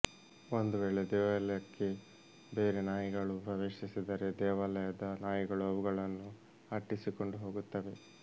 ಒಂದು ವೇಳೆ ದೇವಾಲಯಕ್ಕೆ ಬೇರೆ ನಾಯಿಗಳು ಪ್ರವೇಶಿಸಿದರೆ ದೇವಾಲಯದ ನಾಯಿಗಳು ಅವುಗಳನ್ನು ಅಟ್ಟಿಸಿಕೊಂಡು ಹೋಗುತ್ತವೆ